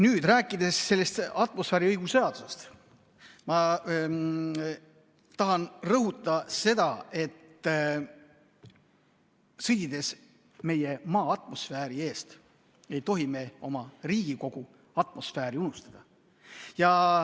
Jah, rääkides sellest atmosfääriõhu seadusest, ma tahan rõhutada seda, et sõdides meie Maa atmosfääri eest, ei tohi me oma Riigikogu atmosfääri unustada.